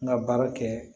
N ka baara kɛ